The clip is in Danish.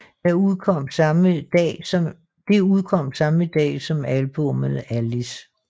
Det udkom samme dag som albummet Alice